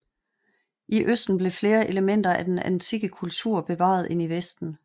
I østen blev flere elementer af den antikke kultur bevaret end i vesten